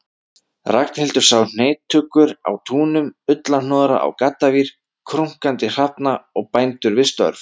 Ragnhildur sá heytuggur á túnum, ullarhnoðra á gaddavír, krunkandi hrafna og bændur við störf.